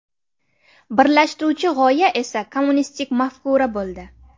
Birlashtiruvchi g‘oya esa kommunistik mafkura bo‘ldi.